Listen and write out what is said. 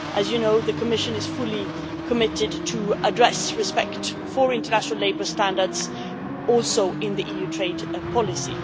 As you know, the Commission is fully committed to addressing respect for international labour standards, also in EU trade policy.